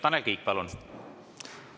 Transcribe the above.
Tanel Kiik, palun!